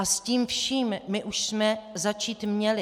A s tím vším my už jsme začít měli.